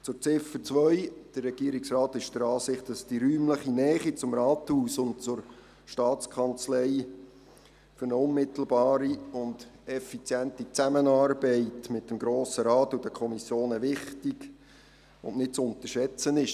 Zu Ziffer 2: Der Regierungsrat ist der Ansicht, dass die räumliche Nähe zum Rathaus und zur Staatskanzlei für eine unmittelbare und effiziente Zusammenarbeit mit dem Grossen Rat und den Kommissionen wichtig und nicht zu unterschätzen ist.